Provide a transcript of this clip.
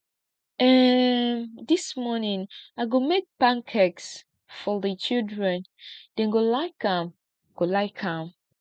um dis morning i go make pancakes for di children dem go like am go like am